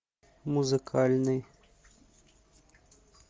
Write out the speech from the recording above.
музыкальный